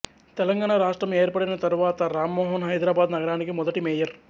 తెలంగాణ రాష్ట్రం ఏర్పడిన తరువాత రామ్మోహన్ హైదరాబాద్ నగరానికి మొదటి మేయర్